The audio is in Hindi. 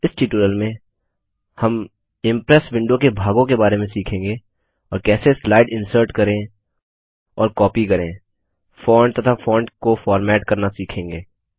इस ट्यूटोरियल में हम इम्प्रेस विंडो के भागों के बारे में सीखेंगे और कैसे स्लाइड इन्सर्ट करें और कॉपी करें फॉन्ट तथा फॉन्ट को फॉर्मेट करना सीखेंगे